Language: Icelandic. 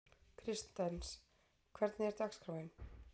Kristens, hvernig er dagskráin?